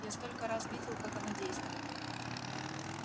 я столько раз видел как оно действует